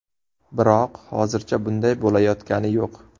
Biroq hozircha bunday bo‘layotgani yo‘q.